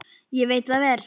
Ég veit það vel!